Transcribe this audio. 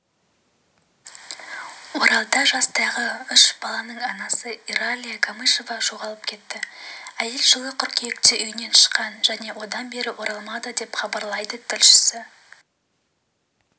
оралда жастағы үш баланың анасыиралия камышева жоғалып кетті әйел жылы қыркүйекте үйінен шыққан және одан бері оралмады деп хабарлайды тілшісі